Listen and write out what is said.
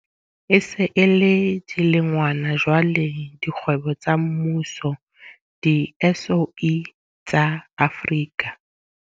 E se e le dilengwana jwale dikgwebo tsa mmuso di-SOE tsa Afrika.